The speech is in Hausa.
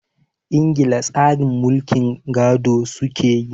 Ingila tsarin mulkin gado su ke yi.